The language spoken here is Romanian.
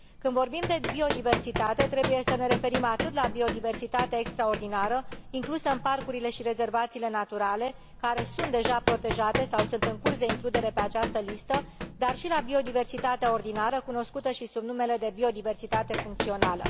Când vorbim de biodiversitate, trebuie să ne referim atât la biodiversitatea extraordinară, inclusă în parcurile și rezervațiile naturale, care sunt deja protejate sau sunt în curs de includere pe această listă, dar și la biodiversitatea ordinară, cunoscută și sub numele de biodiversitate funcțională.